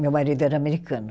Meu marido era americano.